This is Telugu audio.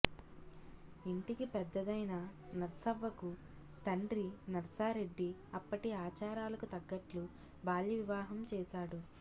ఇంటికి పెద్దదైన నర్సవ్వకు తండ్రి నర్సారెడ్డి అప్పటి ఆచారాలకు తగ్గట్లు బాల్య వివాహం చేశాడు